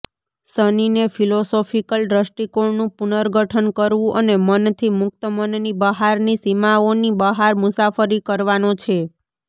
શનિને philosophical દ્રષ્ટિકોણનું પુનર્ગઠન કરવું અને મનથી મુક્ત મનની બહારની સીમાઓની બહાર મુસાફરી કરવાનો છે